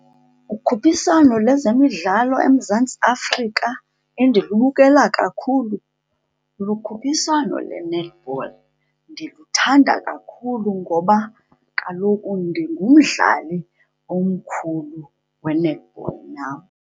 Ukhuphiswano lezemidlalo eMzantsi Afrika endilubukela kakhulu lukhuphiswano lwe-netball. Ndiluthanda kakhulu ngoba kaloku ndingumdlali omkhulu we-netball nam.